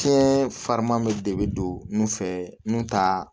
Fɛn farima bɛ de bɛ don nun fɛ nun ta